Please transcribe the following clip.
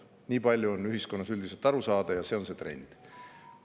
Nii palju on ühiskonnas üldiselt aru saadud ja see on trend.